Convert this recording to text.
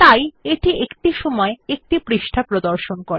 তাই এটি একটি সময়ে একটি পৃষ্ঠা প্রদর্শন করে